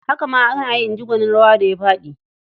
"Haka ma ana yi", in ji gwanin rawa da ya faɗi.